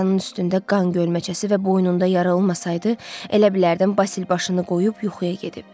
Masanın üstündə qan gölməçəsi və boynunda yara olmasaydı, elə bilərdim Basil başını qoyub yuxuya gedib.